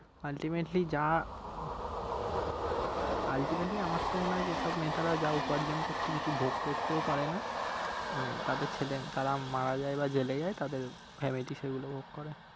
ultimately যা uh ultimately আমার তো মনে হয় যে সব নেতারা যা উপার্জন করছে কিছু ভোগ করতেও পারে না মানে তাদের ছেলে তারা মারা যায় বা জেলে যায় তাদের family সেগুলো ভোগ করে